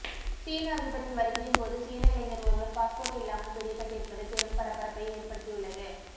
சீன அதிபரின் வருகையின்போது சீன இளைஞர் ஒருவர் பாஸ்போர்ட் இல்லாமல் பிடிபட்டிருப்பது பெரும் பரபரப்பை ஏற்படுத்தியுள்ளது